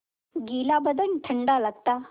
गीला बदन ठंडा लगता